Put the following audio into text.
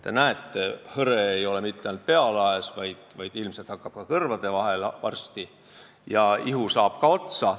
Te näete, et hõre ei ole mitte ainult minu pealagi, ilmselt hakkab varsti hõre ka kõrvade vahel ja ihu saab ka otsa.